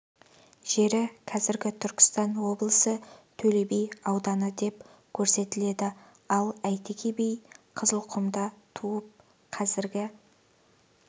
жері қазіргі түркістан облысы төле би ауданы деп көрсетіледі ал әйтеке би қызылқұмда туып қазіргі